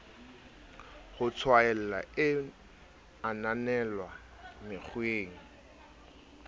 ho tshwaela e ananelwa mekgweng